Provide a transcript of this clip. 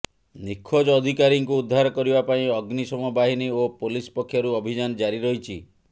ନିଖୋଜ ଅଧିକାରୀଙ୍କୁ ଉଦ୍ଧାର କରିବା ପାଇଁ ଅଗ୍ନିଶମ ବାହିନୀ ଓ ପୋଲିସ ପକ୍ଷରୁ ଅଭିଯାନ ଜାରି ରହିଛି